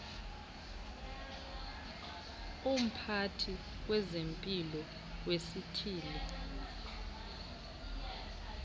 umphathi wezempilo wesithili